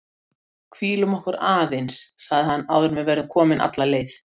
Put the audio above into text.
Hvílum okkur aðeins sagði hann áður en við verðum komin alla leið